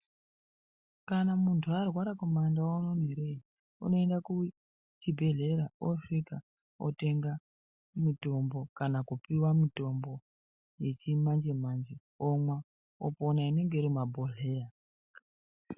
Kana munhu arwara kumandau uno ere unoende kuchibhehleya osvika otenga mitombo kana kupiwa mitombo yechimanjemanje omwa opona inenge irimumabhohleya.